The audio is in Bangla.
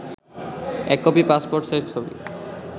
১ কপি পাসপোর্ট সাইজ ছবি